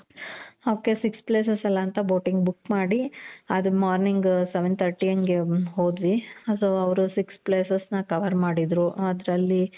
ok six places ಅಲ ಅಂತ boating book ಮಾಡಿ ಅದು morning seven thirty ಹಂಗೆ ಹೋದ್ವಿ so ಅವ್ರು six places ನ cover ಮಾಡಿದ್ರು ಅದ್ರಲ್ಲಿ